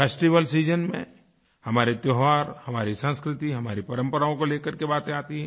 festival season में हमारे त्योहार हमारी संस्कृति हमारी परम्पराओं को लेकर के बातें आती हैं